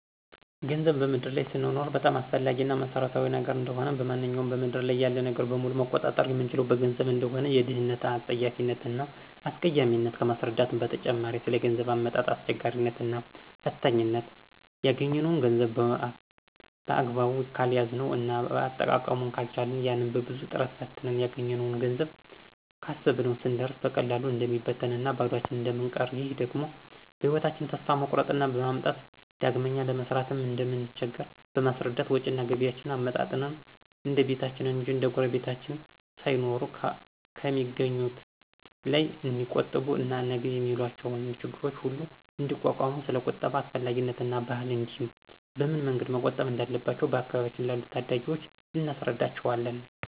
ገንዘብ በምድር ላይ ስንኖር በጣም አስፈላጊ እና መሰረታዊ ነገር እንደሆነ፣ ማንኛውንም በምድር ያለ ነገር በሙሉ መቆጣጠር የምንችለው በገንዘብ እንደሆነ፣ የድህነትን አጸያፊነት እና አስቀያሚነት ከማስረዳትም በተጨማሪ ስለገንዘብ አመጣጥ አስቸጋሪነት እና ፈታኝነት እና ያገኝነውን ገንዘብ በአግባቡ ካልያዝነው እና አጠቃቀሙን ካልቻልን ያን በብዙ ጥረትና ፈተና ያገኘነውን ገንዘብ ካሰብነው ስንደርስ በቀላሉ እንደሚበትንና ባዷችን እንደምንቀር ይህ ደግሞ በህይወታቸን ተስፋ መቁረጥን በማምጣት ዳግመኛ ለመስራትም እንደምንቸገር በማስረዳት ወጭና ገቢያቸዉን አመጣጥነው እንደቤታቸው እንጅ እንደጉረቤታቸው ሳይኖሩ ከሚአገኙት ላይ ንዲቆጥቡ እና ነገ የሚገጥሟቸው ችግሮች ሁሉ እንዲቋቋሙ ስለቁጠባ አስፈላጊነትና ባህል እንዲህም በምን መንገድ መቆጠብ እንዳለባቸው በአካባቢያችን ላሉ ታዳጊወች እናስረዳቸዋለን።